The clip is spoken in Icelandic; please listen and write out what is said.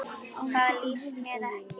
Það líst mér ekki á.